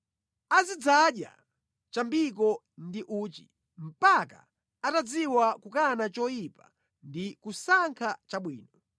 Azidzadya chambiko ndi uchi, mpaka atadziwa kukana choyipa ndi kusankha chabwino.